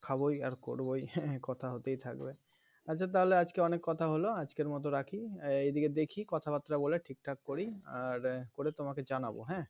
খাবই আর করবই হ্যাঁ কথা হতেই থাকবে আচ্ছা তাহলে আজকে অনেক কথা হল আজকের মত রাখি এই দিকে দেখি কথাবার্তা বলে ঠিকঠাক করি আর করে তোমাকে জানাবো হ্যাঁ